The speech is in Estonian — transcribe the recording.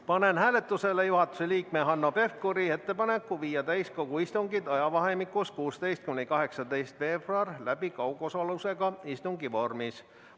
Panen hääletusele juhatuse liikme Hanno Pevkuri ettepaneku viia täiskogu istungid ajavahemikus 16.–18. veebruar läbi kaugosalusega istungi vormis.